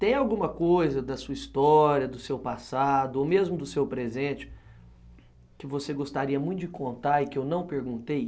Tem alguma coisa da sua história, do seu passado, ou mesmo do seu presente, que você gostaria muito de contar e que eu não perguntei?